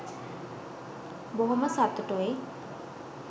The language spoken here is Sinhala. බොහොම සතුටුයි.